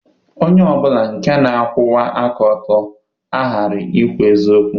Onye ọ bụla nke na-akwụwa aka ọtọ aghaghị ikwu eziokwu.